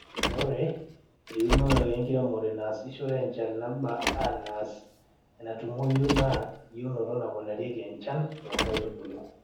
ore eunore enkiremore naasishore enchan naba anas enatumoyu naa eyieunoto naponarieki enchan too nkaitubulu